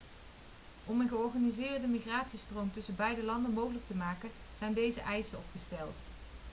om een georganiseerde migratiestroom tussen beide landen mogelijk te maken zijn deze eisen opgesteld